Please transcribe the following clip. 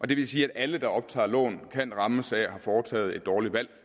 det vil sige at alle der optager lån kan rammes af at have foretaget et dårligt valg